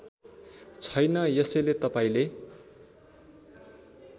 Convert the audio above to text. छैन यसैले तपाईँले